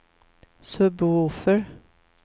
sub-woofer